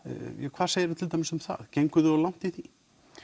hvað segirðu til dæmis um það genguð þið of langt í því